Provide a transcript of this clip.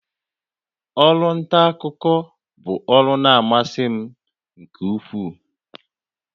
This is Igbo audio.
Ọrụ nta akụkọ bụ ọrụ na-amasị m nke ukwuu